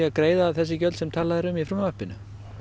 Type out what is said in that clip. greiða þessi gjöld sem talað er um í frumvarpinu